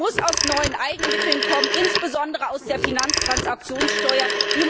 Es muss aus neuen Eigenmitteln kommen, insbesondere aus der Finanztransaktionssteuer.